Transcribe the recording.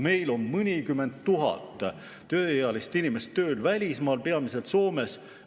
Meil on mõnikümmend tuhat tööealist inimest tööl välismaal, peamiselt Soomes.